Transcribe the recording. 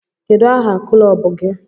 Kedu aha kụlọbụ gi?